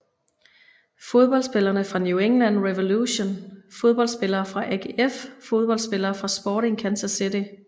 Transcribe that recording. Fodboldspillere fra New England Revolution Fodboldspillere fra AGF Fodboldspillere fra Sporting Kansas City